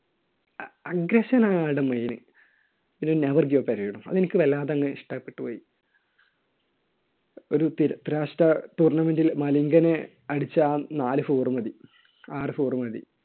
agression ആണ് അയാളുടെ main. ഒരു never give up attitude അത് എനിക്ക് വല്ലാതെ അങ്ങ് ഇഷ്ടപ്പെട്ടു പോയി. ഒരു ത്രിരാഷ്ട്ര tournament ൽ മലിംഗനെ അടിച്ച ആ നാല് four മതി ആറ് four മതി